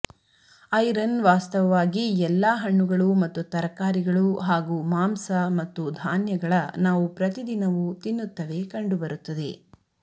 iron ವಾಸ್ತವವಾಗಿ ಎಲ್ಲಾ ಹಣ್ಣುಗಳು ಮತ್ತು ತರಕಾರಿಗಳು ಹಾಗೂ ಮಾಂಸ ಮತ್ತು ಧಾನ್ಯಗಳ ನಾವು ಪ್ರತಿದಿನವು ತಿನ್ನುತ್ತವೆ ಕಂಡುಬರುತ್ತದೆ